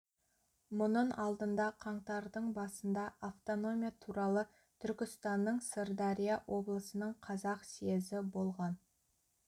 мұнын алдында қаңтардың басында автономия туралы түркістанның сырдария облысының қазақ съезі болған